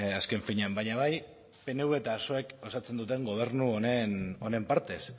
azken finean baina bai pnv eta psoek osatzen duten gobernu honen partez